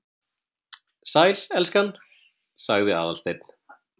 Sæl, elskan- sagði Aðalsteinn.